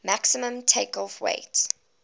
maximum takeoff weight